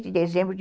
de dezembro de